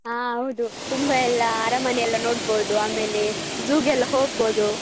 ಹ ಹೌದು ತುಂಬ ಎಲ್ಲ ಅರಮನೆ ಎಲ್ಲ ನೋಡ್ಬೋದು ಆಮೇಲೆ zoo ಗೆಲ್ಲ ಹೋಗ್ಬೋದು.